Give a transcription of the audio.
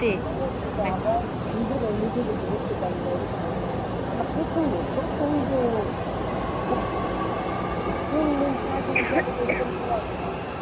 আমরা নিজেরাই নিজেদেরকে দেখতে পারি না এরকম একটা অবস্থা মানে প্রচন্ড প্রচণ্ড কুয়াশা তিন দিন চারদিন জাবদ এরকম কুয়াশা।